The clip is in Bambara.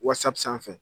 Wasapu sanfɛ